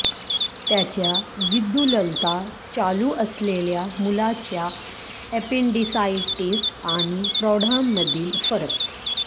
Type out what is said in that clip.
त्याच्या विद्युल्लता चालू असलेल्या मुलाच्या एपेंडिसाइटिस आणि प्रौढांमधील फरक